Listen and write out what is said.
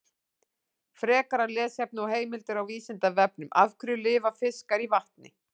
Frekara lesefni og heimildir á Vísindavefnum: Af hverju lifa fiskar í vatni?